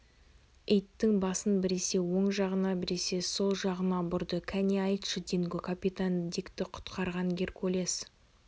иттің басын біресе оң жағына біресе сол жағына бұрды кәне айтшы динго капитан дикті құтқарған геркулес